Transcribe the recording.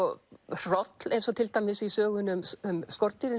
hroll eins og til dæmis í sögunni um skordýrin